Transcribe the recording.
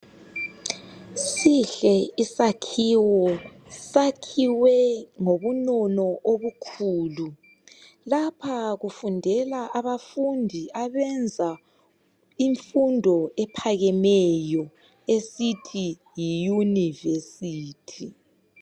Sihle isakhiwo sakhiwe ngobunono obukhulu. Lapha kufundela abafundi abenza imfundo ephakemeyo esithi Yi yunivesithi.